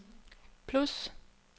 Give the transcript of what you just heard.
plus